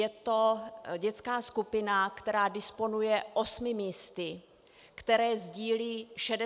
Je to dětská skupina, která disponuje 8 místy, které sdílí 67 dětí.